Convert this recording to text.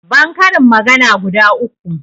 ban karin magana guda uku